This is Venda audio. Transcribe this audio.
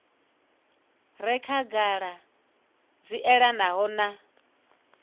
re khagala dzi elanaho na